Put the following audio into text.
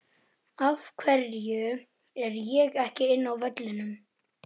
Einar og virtist allt í einu bálreiður.